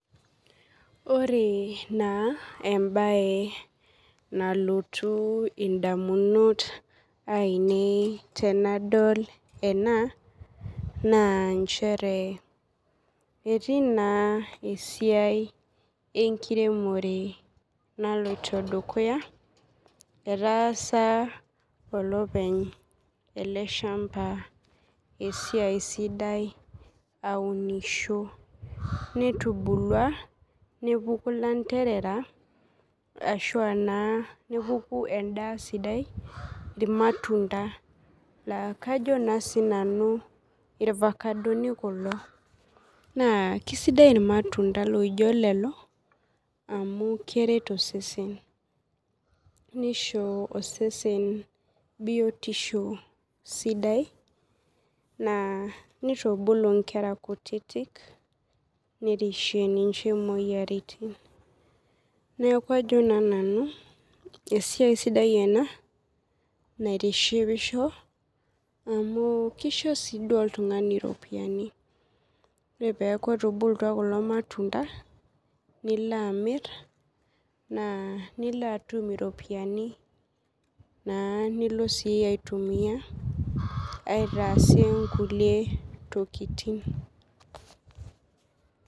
Ore na embae nalotu ndamunot ainei tanadol ena na nchere etii na esiai enkiremore naloto dukuya etaasa olopeny eleshamba esiai sidai aunisho neitubulua nepuku landerera ashu naa nepuku endaa sidai irmatunda na kajo na sinanu irfakadoni kulo na kesidai irmatunda lijo kulo amu keret osesen nisho osesen biotisho sidai na nitubulu nkera kutitik nerishie ninche moyiaritin neaku ajo nanu esiai sidai ena naitishipisho amu kisho oltungani iropiyiani amu ore peaku etubulutua irmatunda nilobamir na nilo atum iropiyiani nilo aitumia aitaas nkulie tokitin.